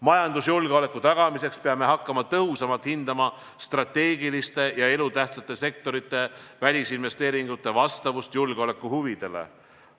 Majandusjulgeoleku tagamiseks peame hakkama tõhusamalt hindama strateegiliste ja elutähtsate sektorite välisinvesteeringute vastavust julgeolekuhuvidele.